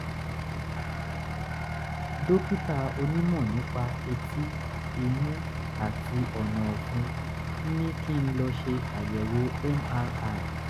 dókítà onímọ̀ nípa etí imú àti ọ̀nà-ọ̀fun ent ní kí n lọ ṣe àyẹ̀wò mri